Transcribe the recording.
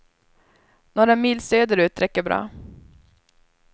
Några mil söder ut räcker bra.